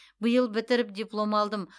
биыл бітіріп диплом алдым